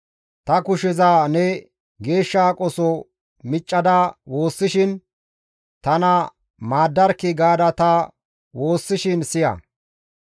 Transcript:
Ta kusheza ne Geeshsha aqoso miccada woossishinne tana maaddarkki gaada ta waassishin ne siya.